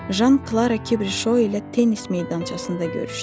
Jan Klara Kibrişo ilə tennis meydançasında görüşdü.